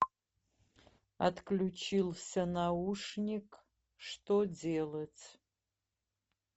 отключился наушник что делать